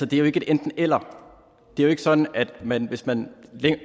det er jo ikke et enten eller det er ikke sådan at man hvis man